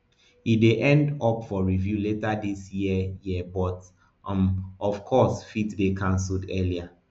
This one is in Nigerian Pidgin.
e dey up for review later dis year year but um of course fit dey cancelled earlier